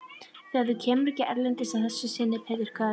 Þú kemur ekki erindisleysu að þessu sinni, Pétur karl.